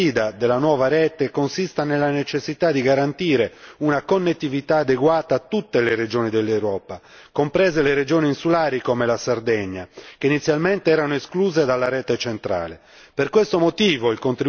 Credo che la principale sfida della nuova rete consista nella necessità di garantire una connettività adeguata a tutte le regioni dell'Europa, comprese le regioni insulari come la Sardegna, che inizialmente erano escluse dalla rete centrale.